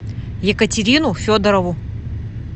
екатерину федорову